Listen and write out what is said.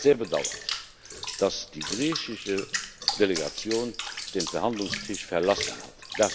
Ich habe es sehr bedauert, dass die griechische Delegation den Verhandlungstisch verlassen hat.